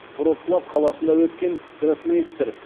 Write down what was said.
вроцлав қаласында өткен гроссмейстер